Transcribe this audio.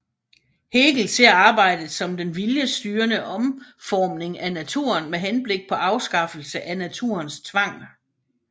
Hegel ser arbejdet som den viljesstyrede omformning af naturen med henblik på afskaffelse af naturens tvang